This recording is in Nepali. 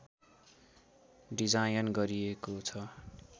डिजायन गरिएको छ